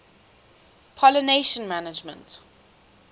pollination management